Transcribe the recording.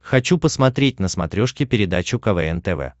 хочу посмотреть на смотрешке передачу квн тв